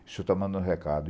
O senhor está mandando um recado.